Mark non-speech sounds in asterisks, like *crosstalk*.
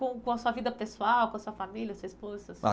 Com com a sua vida pessoal, com a sua família, sua esposa, seus *unintelligible*